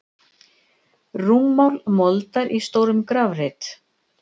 Rúmmál moldar í stórum grafreit.